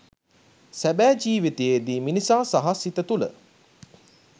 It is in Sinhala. සැබෑ ජීවිතයේ මිනිසා සහ සිත තුල